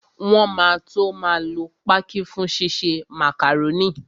Wọn máa tó máa lo pákí fún ṣíṣe màkàrónì